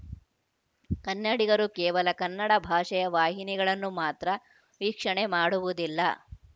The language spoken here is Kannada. ಕನ್ನಡಿಗರು ಕೇವಲ ಕನ್ನಡ ಭಾಷೆಯ ವಾಹಿನಿಗಳನ್ನು ಮಾತ್ರ ವೀಕ್ಷಣೆ ಮಾಡುವುದಿಲ್ಲ